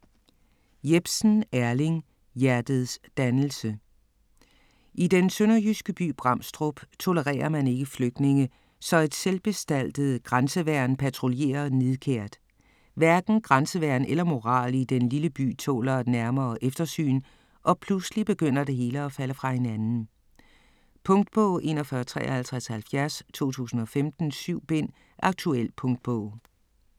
Jepsen, Erling: Hjertets dannelse I den sønderjyske by Bramstrup tolererer man ikke flygtninge, så et selvbestaltet grænseværn patruljerer nidkært. Hverken grænseværn eller moral i den lille by tåler et nærmere eftersyn, og pludselig begynder det hele at falde fra hinanden. Punktbog 415370 2015. 7 bind. Aktuel punktbog.